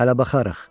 Hələ baxarıq.